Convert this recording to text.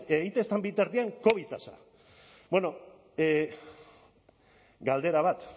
egiten ez den bitartean covid tasa bueno galdera bat